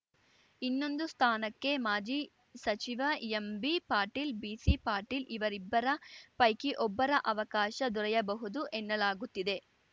ಇನ್ನೊಂದು ಸ್ಥಾನಕ್ಕೆ ಮಾಜಿ ಸಚಿವ ಎಂಬಿ ಪಾಟೀಲ್‌ ಬಿಸಿ ಪಾಟೀಲ್‌ ಅವರಿಬ್ಬರ ಪೈಕಿ ಒಬ್ಬರ ಅವಕಾಶ ದೊರೆಯಬಹುದು ಎನ್ನಲಾಗುತ್ತಿದೆ